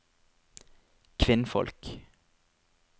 kvinnfolk